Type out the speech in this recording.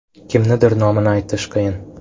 Kimnidir nomini aytish qiyin.